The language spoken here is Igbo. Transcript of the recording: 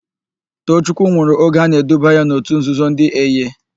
Toochukwu nwụrụ oge a na-eduba ya n'òtù nzuzo ndị Eye.